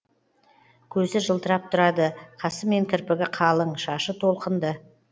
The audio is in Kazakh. көзі жылтырап тұрады қасы мен кірпігі қалың шашы толқынды